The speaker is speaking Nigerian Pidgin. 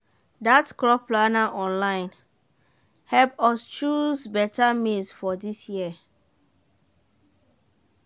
that crop planner online help us choose better maize for this year.